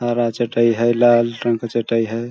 हरा चटाई है लाल रंग का चटाई हैं ।